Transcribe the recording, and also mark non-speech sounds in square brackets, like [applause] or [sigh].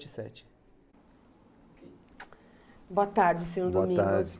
sete. [unintelligible] Boa tarde, senhor Domingos. Boa tarde.